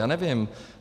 Já nevím.